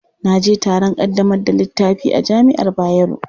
Na je taron ƙaddamar da littafi a jami'ar Bayero.